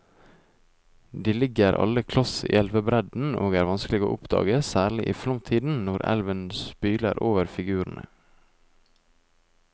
De ligger alle kloss i elvebredden og er vanskelige å oppdage, særlig i flomtiden når elven spyler over figurene.